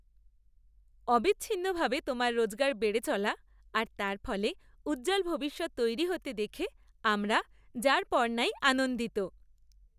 অবিচ্ছিন্নভাবে তোমার রোজগার বেড়ে চলা আর তার ফলে উজ্জ্বল ভবিষ্যৎ তৈরি হতে দেখে আমরা যারপরনাই আনন্দিত!